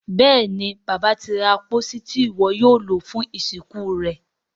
Béèni Bàbá tí ra pósí Ti iwọ yóò lo fún ìsìnkú rẹ.